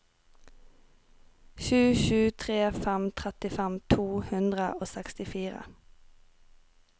sju sju tre fem trettifem to hundre og sekstifire